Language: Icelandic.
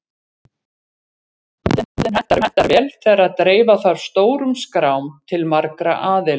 Staðallinn hentar vel þegar dreifa þarf stórum skrám til margra aðila.